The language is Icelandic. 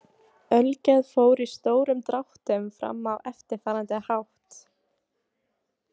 Ölgerð fór í stórum dráttum fram á eftirfarandi hátt.